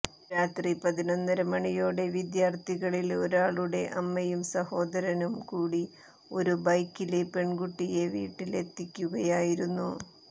രാത്രി പതിനൊന്നര മണിയോടെ വിദ്യാത്ഥികളില് ഒരാളുടെ അമ്മയും സഹോദനും കൂടി ഒരു ബൈക്കില് പെണ്കുട്ടിയെ വീട്ടിലെത്തിക്കുകയായിരുന്നു